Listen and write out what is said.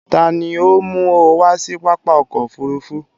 Tàní o mú ọ wá si pápá ọkọ̀ òfurufú?